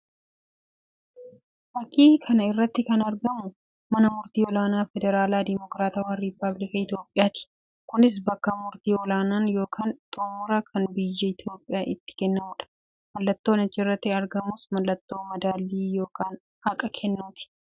Fakkii kana irratti kan argamu mana murtii ol'aanaa federaalaa dimookiratawwaa Ripaabilika Itoophiyaati. Kunis bakka murtii ol'aanaan yookiin xumuraa kan biyya Itoophiyaa itti kennamuudha. Mallattoon achirratti argamus mallattoo madaallii yookiin haqaa kennuuti.